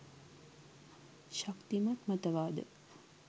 ශක්තිමත් මත වාද